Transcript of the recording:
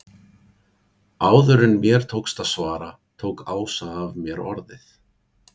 Áður en mér tókst að svara tók Ása af mér orðið.